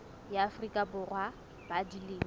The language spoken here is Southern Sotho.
ya afrika borwa ba dilemo